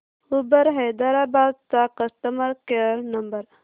Uber Hyderabad चा customer care number